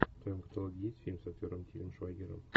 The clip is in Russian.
в твоем каталоге есть фильм с актером тилем швайгером